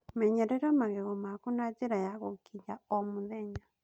Menyerera magego maku na njĩra ya gũkiinya o mũthenya